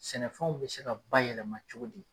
Sɛnɛfɛnw bɛ se ka bayɛlɛma cogo di.